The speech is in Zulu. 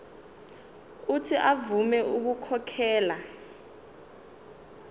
uuthi avume ukukhokhela